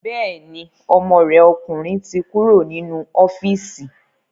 Bẹ́ẹ̀ni, ọmọ rẹ̀ ọkùnrin ti kúrò nínú ọ́fíìsì